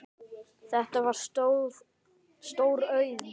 Þetta var stór auðn.